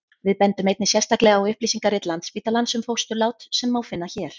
við bendum einnig sérstaklega á upplýsingarit landsspítalans um fósturlát sem má finna hér